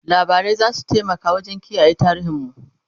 labarai zasu taimaka wajen kiyaye tarihin mu